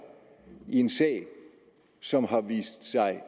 i en sag som har vist sig